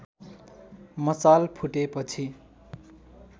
मसाल फुटेपछि